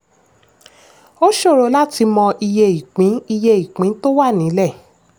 ó ṣòro láti mọ iye ìpín iye ìpín tó wà nílẹ̀.